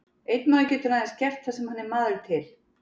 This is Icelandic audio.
Einn maður getur aðeins gert það sem hann er maður til.